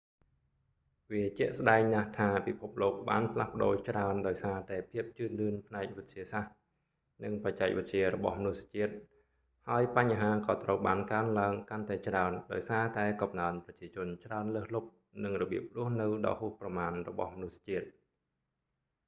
វាជាក់ស្ដែងណាស់ថាពិភពលោកបានផ្លាស់ប្តូរច្រើនដោយសារតែភាពជឿនលឿនផ្នែកវិទ្យាសាស្ត្រ និងបច្ចេកវិទ្យារបស់មនុស្សជាតិ ហើយបញ្ហាក៏ត្រូវបានកើនឡើងកាន់តែច្រើនដោយសារតែកំណើនប្រជាជនច្រើនលើសលុប និងរបៀបរស់នៅដ៏ហួសប្រមាណរបស់មនុស្សជាតិ